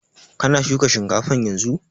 Kana shuka shinkafan yanzun?